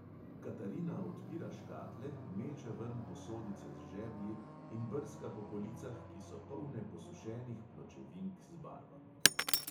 Katarina odpira škatle, meče ven posodice z žeblji in brska po policah, ki so polne posušenih pločevink z barvami.